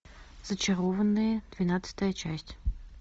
зачарованные двенадцатая часть